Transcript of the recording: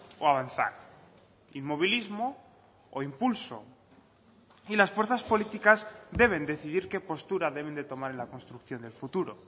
o avanzar inmovilismo o impulso y las fuerzas políticas deben decidir qué postura deben de tomar en la construcción del futuro